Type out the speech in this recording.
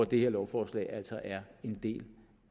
det her lovforslag altså er en del